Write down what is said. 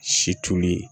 Si tunni